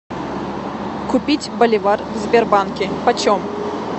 купить боливар в сбербанке почем